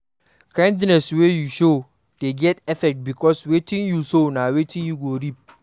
KIndness wey you show de get effects because wetin you sow na him you go reap